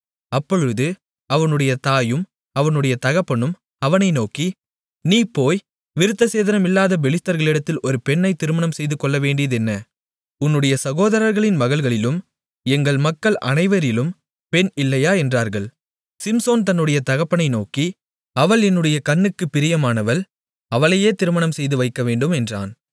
அப்பொழுது அவனுடைய தாயும் அவனுடைய தகப்பனும் அவனை நோக்கி நீ போய் விருத்தசேதனமில்லாத பெலிஸ்தர்களிடத்தில் ஒரு பெண்ணை திருமணம் செய்துகொள்ளவேண்டியதென்ன உன்னுடைய சகோதரர்களின் மகள்களிலும் எங்கள் மக்கள் அனைவரிலும் பெண் இல்லையா என்றார்கள் சிம்சோன் தன்னுடைய தகப்பனை நோக்கி அவள் என்னுடைய கண்ணுக்குப் பிரியமானவள் அவளையே திருமணம் செய்துவைக்கவேண்டும் என்றான்